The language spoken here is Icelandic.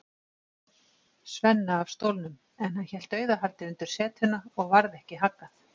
Svenna af stólnum, en hann hélt dauðahaldi undir setuna og varð ekki haggað.